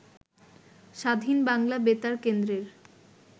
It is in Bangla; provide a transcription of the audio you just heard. স্বাধীন বাংলা বেতারকেন্দ্রের